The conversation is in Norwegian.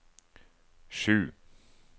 sju